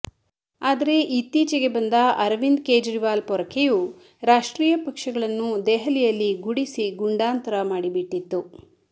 ಆದರೆ ಇತ್ತೀಚಿಗೆ ಬಂದ ಅರವಿಂದ್ ಕೇಜ್ರೀವಾಲ್ ಪೊರಕೆಯು ರಾಷ್ಟ್ರೀಯ ಪಕ್ಷಗಳನ್ನು ದೆಹಲಿಯಲ್ಲಿ ಗುಡಿಸಿ ಗೊಂಡಾಂತರ ಮಾಡಿಬಿಟ್ಟಿತ್ತು